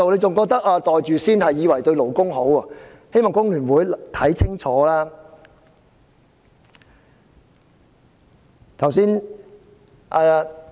他們以為"袋住先"對勞工有好處，我請工聯會議員想清楚。